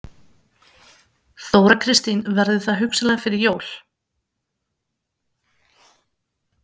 Þóra Kristín: Verður það hugsanlega fyrir jól?